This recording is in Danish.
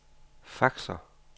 faxer